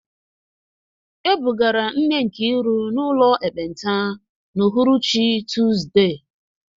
E bugara nne Nkiru n’ụlọ ekpenta n’uhuruchi Tuzdee.